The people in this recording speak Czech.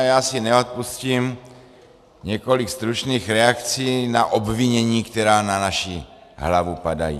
A já si neodpustím několik stručných reakcí na obvinění, která na naši hlavu padají.